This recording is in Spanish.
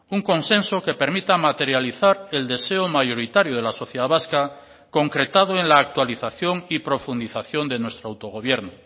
un consenso que permita materializar el deseo mayoritario de la sociedad vasca concretado en la actualización y profundización de nuestro autogobierno